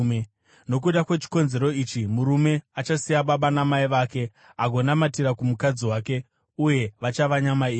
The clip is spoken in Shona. Nokuda kwechikonzero ichi, murume achasiya baba namai vake agonamatira kumukadzi wake, uye vachava nyama imwe.